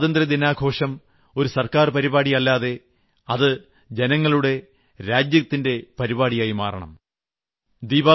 എന്നിട്ട് സ്വാതന്ത്ര്യദിനാഘോഷം ഒരു സർക്കാർ പരിപാടി അല്ലാതെ അത് രാജ്യങ്ങളുടെ ജനങ്ങളുടെ പരിപാടിയായി മാറണം